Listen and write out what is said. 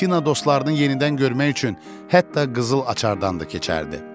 Buratino dostlarının yenidən görmək üçün hətta qızıl açardan da keçərdi.